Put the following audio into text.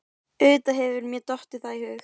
Auðvitað hefur mér dottið það í hug.